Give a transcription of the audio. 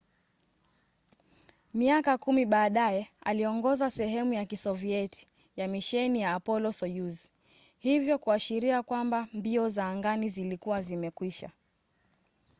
miaka kumi baadaye aliongoza sehemu ya kisovieti ya misheni ya apollo-soyuz hivyo kuashiria kwamba mbio za angani zilikuwa zimekwisha